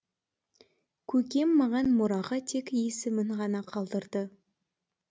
көкем маған мұраға тек есімін ғана қалдырды